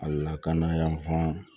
A lakana yanfan